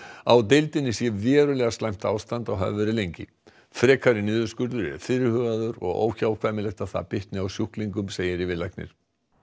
á deildinni sé verulega slæmt ástand og hafi verið lengi frekari niðurskurður er fyrirhugaður og óhjákvæmilegt er að hann bitni á sjúklingum segir yfirlæknir